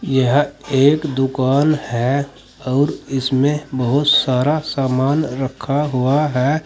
यह एक दुकान है और इसमें बहोत सारा सामान रखा हुआ है।